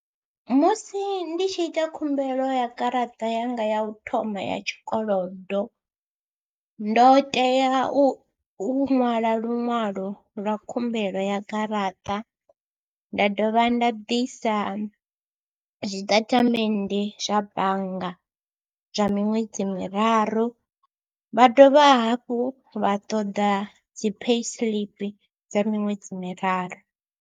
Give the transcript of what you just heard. Musi ndi tshi ita khumbelo ya garaṱa yanga ya u thoma ya tshikolodo ndo tea u u, ṅwala luṅwalo lwa khumbelo ya garaṱa, nda dovha nda ḓisa zwitatamennde zwa bannga zwa miṅwedzi miraru, vha dovha hafhu vha ṱoḓa dzi payslip dza miṅwedzi miraru.